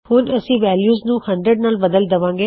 ਹੁਣ ਅਸੀਂ ਵੈਲਯੂ ਨੂੰ 100 ਨਾਲ ਬਦਲ ਦਵਾਂਗੇ